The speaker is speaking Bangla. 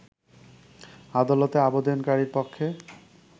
আদালতে আবেদনকারী পক্ষে